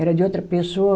Era de outra pessoa.